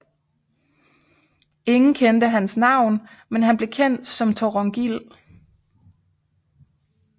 Ingen kendte hans navn men han blev kendt som Thorongil